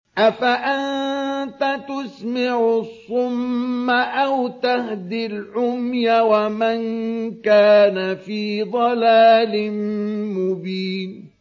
أَفَأَنتَ تُسْمِعُ الصُّمَّ أَوْ تَهْدِي الْعُمْيَ وَمَن كَانَ فِي ضَلَالٍ مُّبِينٍ